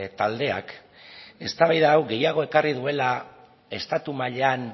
taldeak eztabaida hau gehiago ekarri duela estatu mailan